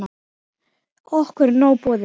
Okkur er nóg boðið